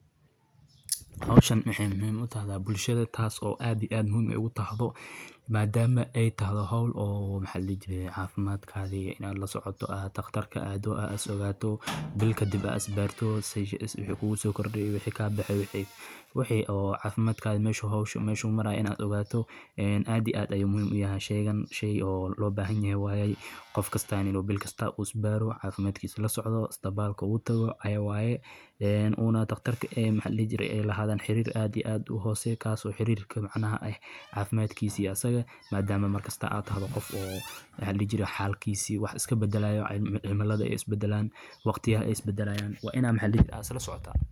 Howshan maxay muhim utahda bulshadha taas oo aad iyo aad muhim ugutahdo madama ay tahay howl oo maxa ladihi jiri cafimaadkatha inad lasocota ad dakhtarka aada as ogaato bil kadib as isbarto waxay kugaso korday iyo wixi kabaxay wixi oo cafimadkadha meshu howshu maraya inad ogato aad iyo aad ay muhim uyahay hasheganin oo labahanyahay waye qofkasta inu bilkasta u isbaara cafimaadkisa lasocda ispatalka ugu taga cawayaya Una dakhtarta ee mxa ladihi jiray adhan xirir aad iyo aad uhoseya kaaso xirirka micnaha cafimaadkisa iyo asaga madama markasto ad tahdo maxa ladihi jiray xalkisa wax iskabadalaya iyo cimiladha ay isbadalan , waqtiyaha isbadalayan wa ina mxa ladihi jiri ad islasocota